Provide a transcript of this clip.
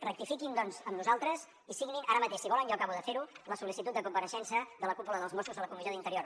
rectifiquin doncs amb nosaltres i signin ara mateix si volen jo acabo de fer ho la sol·licitud de compareixença de la cúpula dels mossos a la comissió d’interior